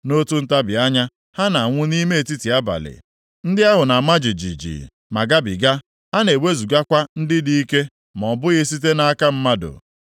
Nʼotu ntabi anya, ha na-anwụ nʼime etiti abalị; ndị ahụ na-ama jijiji ma gabiga; a na-ewezugakwa ndị dị ike ma ọ bụghị site nʼaka mmadụ.